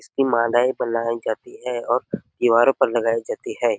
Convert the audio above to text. इसकी मालाये बनाईं जाती है और दीवारों पर लगाई जाती है ।